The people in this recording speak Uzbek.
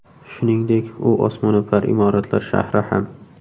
Shuningdek, u osmono‘par imoratlar shahri ham.